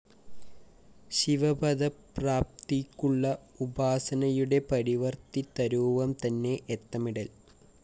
ശിവപദപ്രാപ്തിയ്ക്കുള്ള ഉപാസനയുടെ പരിവര്‍ത്തിതരൂപംതന്നെ ഏത്തമിടല്‍